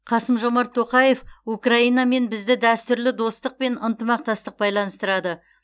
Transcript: қасым жомарт тоқаев украинамен бізді дәстүрлі достық пен ынтымақтастық байланыстырады